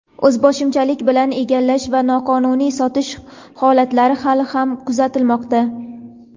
o‘zboshimchalik bilan egallash va noqonuniy sotish holatlari hali ham kuzatilmoqda.